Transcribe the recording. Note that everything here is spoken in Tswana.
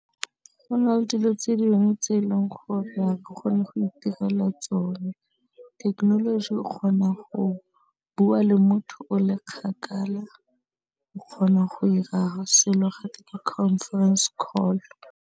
Go na le dilo tse dingwe tse e leng gore ha ke kgone go itirela tsone, thekenoloji o kgona go bua le motho o le kgakala, o kgona go 'ira selo ga te conference call.